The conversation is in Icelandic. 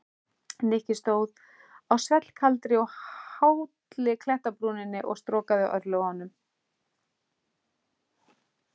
Nikki stóð á svellkaldri og hálli klettabrúninni og storkaði örlögunum.